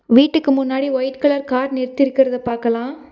வீட்டுக்கு முன்னாடி white colour car நிற்த்திர்கற்த பாக்கலா.